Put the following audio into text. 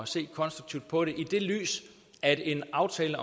se konstruktivt på det i det lys at en aftale